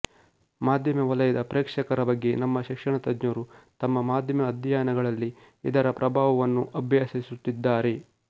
ಮಾಧ್ಯಮ ವಲಯದ ಪ್ರೇಕ್ಷಕರ ಬಗ್ಗೆ ನಮ್ಮ ಶಿಕ್ಷಣ ತಜ್ಞರು ತಮ್ಮ ಮಾಧ್ಯಮ ಅಧ್ಯಯನಗಳಲ್ಲಿ ಇದರ ಪ್ರಭಾವವನ್ನು ಅಭ್ಯಸಿಸುತ್ತಿದ್ದಾರೆ